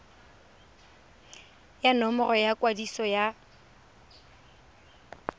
ya nomoro ya kwadiso ya